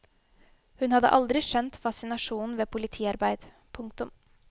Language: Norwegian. Hun hadde aldri skjønt fascinasjonen ved politiarbeid. punktum